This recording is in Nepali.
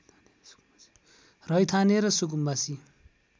रैथाने र सुकुम्बासी